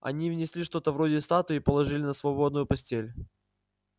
они внесли что-то вроде статуи и положили на свободную постель